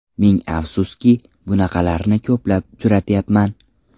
Ming afsuski, bunaqalarni ko‘plab uchratyapman.